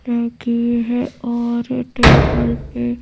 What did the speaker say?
लगी है और टेबल पे--